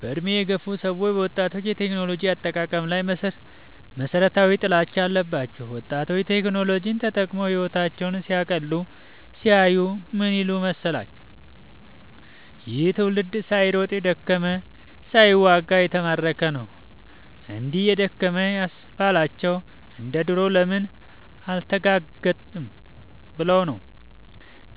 በእድሜ የገፉ ሰዎች በወጣቶች የቴክኖሎጂ አጠቃቀም ላይ መሠረታዊ ጥላቻ አለባቸው። ወጣቶች ቴክኖሎጂን ተጠቅመው ህወታቸውን ሲያቀሉ ሲያዩ ምን ይላሉ መሠላች።" ይህ ትውልድ ሳይሮጥ የደከመ ሳይዋጋ የተማረከ ነው።" እግዲህ የደከመ ያስባላቸው እንደ ዱሮ ለምን አልተጋጋጠም ብለው ነው።